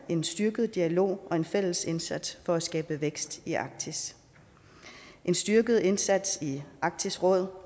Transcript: en styrket dialog og en fælles indsats for at skabe vækst i arktis en styrket indsats i arktisk råd